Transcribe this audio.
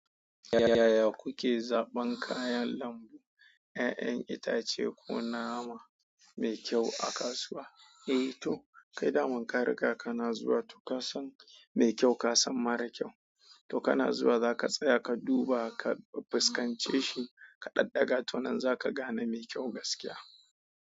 Yaya kuke zaɓan kayan lambu, 'ya'yan itace ko nama mai kyau a kasuwa? Eh to, kai daman ka riga kana zuwa to ka san mai kyau ka san mara kyau. To kana zuwa za ka tsaya ka duba, ka fuskance shi, ka ɗaɗɗaga to nan za ka gane mai kyau gaskiya.